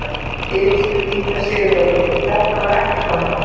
Elísabet Inga Sigurðardóttir: Þetta var ekkert vandamál?